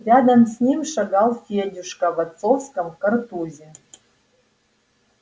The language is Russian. рядом с ним шагал федюшка в отцовском картузе